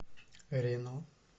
рено